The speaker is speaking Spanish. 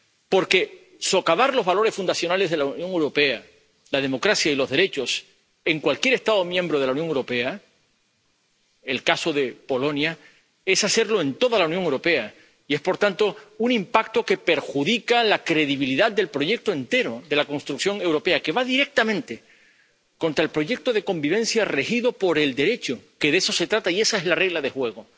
Porque socavar los valores fundacionales de la Unión Europea, la democracia y los derechos en cualquier Estado miembro de la Unión Europea —el caso de Polonia— es hacerlo en toda la Unión Europea y es, por tanto, un impacto que perjudica la credibilidad del proyecto entero de la construcción europea, que va directamente contra el proyecto de convivencia regido por el Derecho —que de eso se trata y esa es la regla de juego—,